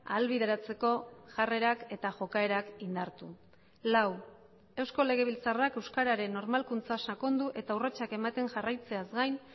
ahalbideratzeko jarrerak eta jokaerak indartu lau eusko legebiltzarrak euskararen normalkuntza sakondu eta urratsak ematen jarraitzeaz gain